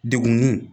Degun